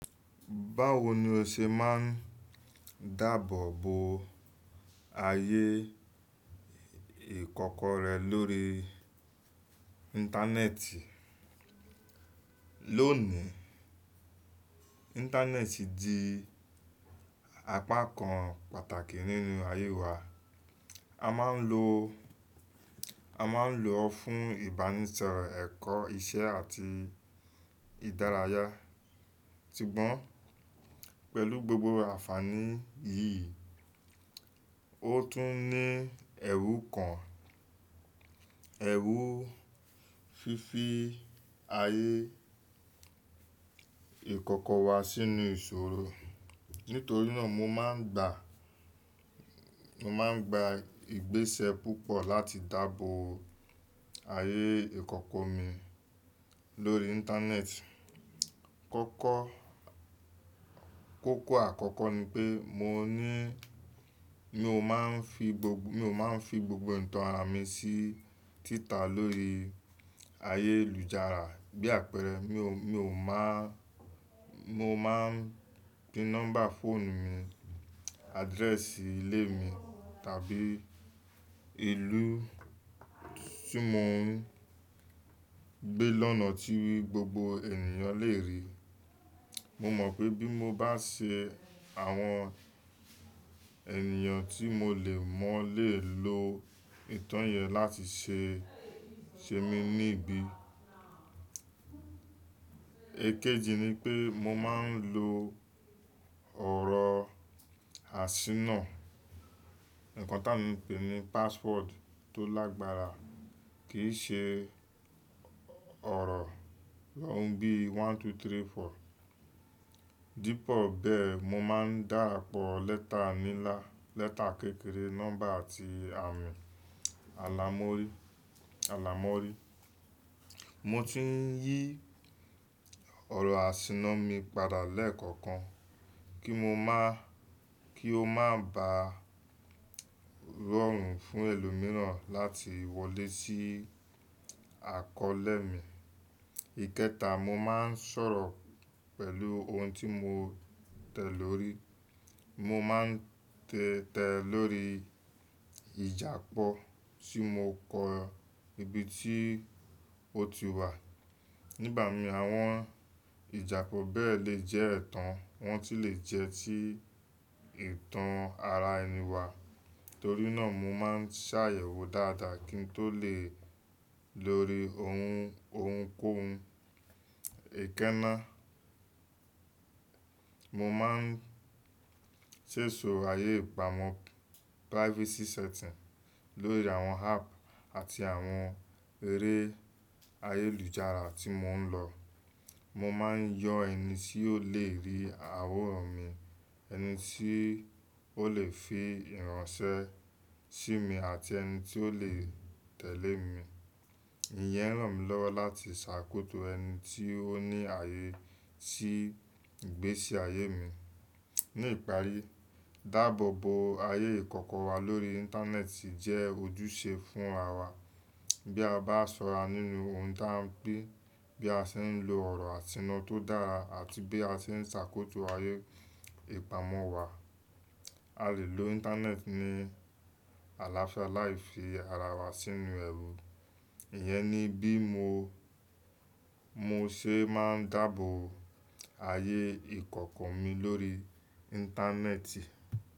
Báwo ni o ṣe máa ń dáàbò bo ayé ìkọ̀kọ̀ rẹ lórí Íńtánẹ́ẹ̀tì? Lónìí, Íńtánẹ́ẹ̀tì di apá kan pàtàkì nínú ayé wa. A máa ń lo, a máa ń lo fún ìbánisọ̀rọ̀, ẹ̀kọ́, isẹ́ àti ìdárayá. Tigbọ́n pẹ̀lú gbogbo àfààní yìí, ó tún ní ẹ̀rú kan, ẹ̀rú fífi ayé ìkọ̀kọ̀ wa sínú ìṣòro. Nítorí náà mo máa ń gbà, mo máa ń gba ìgbésẹ̀ púpọ̀ láti dáàbò ayé ìkọ̀kọ̀ mi lórí Íńtánẹ́ẹ̀tì. Kọ́kọ́, kókó àkọ́kọ́ ni pé mo ní, mi ò máa ń fi gbogbo, mi ò máa ń fi gbogbo ìtàn ara mi sí títà lórí ayélujára bí àpẹẹrẹ, mi ò, mi ò máa, mo máa ń gbin nọ́mbà fóònù mi, adrẹ́ẹ̀sì ilé mi tàbí ìlú tí mo ń gbé lọ́nà tí gbogbo ènìyàn lè rí. Mo mọ̀ pé bí mo bá ṣe, àwọn ènìyàn tí mo lè mọ̀ lè lo ìtàn yẹn láti ṣe, ṣe mí ní ibi. Ekéjì ni pé mo máa ń lo ọ̀rọ̀ àṣínà, nǹkan táa lè pè ní pàṣwọ́ọ̀dù tó lágbára kí í ṣe ọ̀rọ̀ róńbì one two three four. Dípò bẹ́ẹ̀, mo máa ń dà àpọ̀ lẹ́tà nílá, lẹ́tà kékeré, nọ́mbà àti àmì àlámọ̀rí, àlámọ̀rí. Mo tún ń yí ọ̀rọ̀ àṣínà mi padà lẹ́ẹ̀kọ̀kan kí mo máa, kí ó má bá rọrùn fún ẹlòmíràn láti wọlé sí àkọọ́lẹ̀ mi. Ikẹta, mo máa ń sọ̀rọ̀ pẹ̀lú ohun tí mo tẹ̀ lórí. Mo máa ń tẹ, tẹ lórí ìjàpọ́ tí mo kọ ibi tí ó ti wà. Ní ìbàmi àwọn ìjàpọ̀ bẹ́ẹ̀ lè jẹ́ ẹ̀tàn, wọ́n sì lè jẹ́ ti ìtàn ara ẹni wa. Torí náà mo máa ń ṣàyẹ̀wò dáadáa kí n tó lè lo ohun, ohunkóhun. Ẹ̀kẹta, mo máa ń ṣèṣò ayé ìpamọ́ privacy setting lórí àwọn app àti àwọn eré ayélujára tí mo ń lọ. Mo máa ń yọ ẹni tí ó lè rí àwòrán mi, ẹni tí ó lè fi ìránṣẹ́ sí mi àti ẹni tí ó lè tẹ̀lé mi. Ìyẹn ràn mí lọ́wọ́ láti ṣàkóso ẹni tí ó ní ààyè sí ìgbésí ayé mi. Ni ìparí, dáàbò bo ayé ìkọ̀kọ̀ wa lórí Íńtánẹ́ẹ̀tì jẹ́ ojúṣe fún ara wa. Bí a bá sọra nínú ohun ta n pé bí a ṣe ń lo ọ̀rọ̀ àṣínà tó dára àti bí a ṣe ń ṣàkóso ayé ìpamọ́ wa, a lè lo Íńtánẹ́ẹ̀tì ní àlàáfíà láì fi ara wa sínú ẹ̀rù. Ìyẹn ni bí mo, mo ṣe máa ń dáàbò ayé ìkọ̀kọ̀ mi lórí Íńtánẹ́ẹ̀tì.